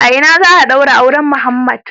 A ina za a daura auren Muhammed?